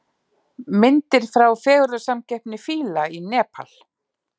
Myndir frá fegurðarsamkeppni fíla í Nepal